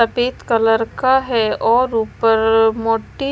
सफेद कलर का है और ऊपर मोटी--